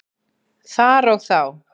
Þar og þá.